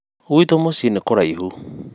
gwitũ mũciĩ nĩ kũraihu